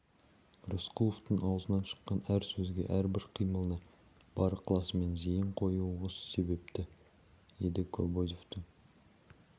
рысқұловтың аузынан шыққан әр сөзге әрбір қимылына бар ықыласымен зейін қоюы осы себепті еді кобозевтің